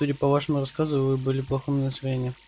судя по вашему рассказу вы были в плохом настроении